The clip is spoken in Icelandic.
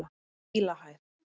Dílahæð